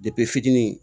fitinin